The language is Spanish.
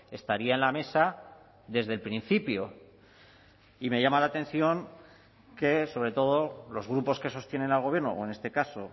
estaría en la mesa desde el principio y me llama la atención que sobre todo los grupos que sostienen al gobierno o en este caso